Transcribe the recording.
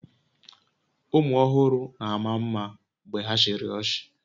Ụmụ ọhụrụ na-ama mma mgbe ha chịrị ọchị